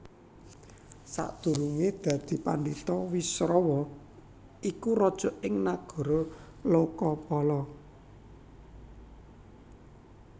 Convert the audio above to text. Sakdurungé dadi pandhita Wisrawa iku raja ing Nagara Lokapala